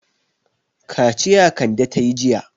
Kaciya Kande ta yi jiya.